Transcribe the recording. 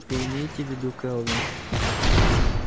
вы имеете в виду кэлвин